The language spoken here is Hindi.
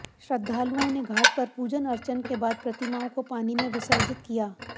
श्रृद्धालुओं ने घाट पर पूजन अर्चन के बाद प्रतिमाओं को पानी में विसर्जित किया